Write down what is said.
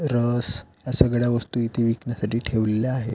रस या सगळ्या वस्तू इथे विकण्यासाठी ठेवलेल्या आहे.